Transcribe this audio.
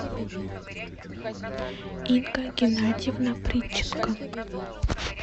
инга геннадьевна притченко